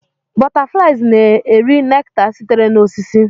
Butterflies na-eri nectar sitere na osisi.